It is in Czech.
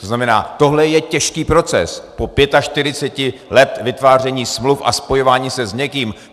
To znamená, tohle je těžký proces po 45 letech vytváření smluv a spojování se s někým.